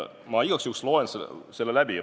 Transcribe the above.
Ma igaks juhuks loen selle läbi.